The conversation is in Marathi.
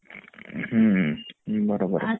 हम्म बरोबर आहे